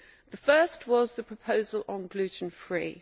The first was the proposal on gluten free.